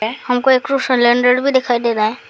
है हम को एक थू सिलेंडर भी दिखाई दे रहा है।